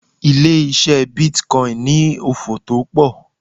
Ilé ise bitcoin ni òfò to pọ̀.